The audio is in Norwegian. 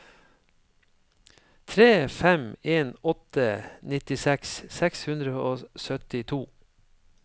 tre fem en åtte nittiseks seks hundre og syttito